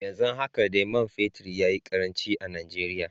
Yanzu haka dai man fetur ya yi karanci a Najeriya.